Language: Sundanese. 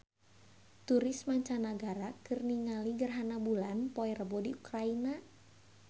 Turis mancanagara keur ningali gerhana bulan poe Rebo di Ukraina